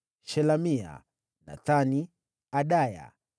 Shelemia, Nathani, Adaya,